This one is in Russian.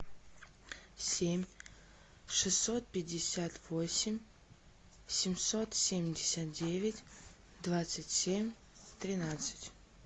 семь шестьсот пятьдесят восемь семьсот семьдесят девять двадцать семь тринадцать